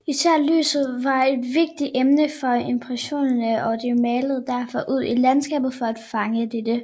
Især lyset var et vigtigt emne for impressionisterne og de malede derfor ude i landskabet for at fange dette